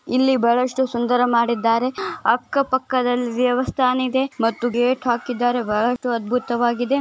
ಇಲ್ಲಿ ಬಹಳಷ್ಟು ಸುಂದರ ಮಾಡಿದ್ದಾರೆ ಅಕ್ಕ ಪಕ್ಕದಲ್ಲಿ ದೇವಸ್ಥಾನ ಇದೆ ಮತ್ತು ಗೇಟ್ ಹಾಕಿದ್ದಾರೆ ಬಹಳಷ್ಟು ಅದ್ಭುತವಾಗಿದೆ.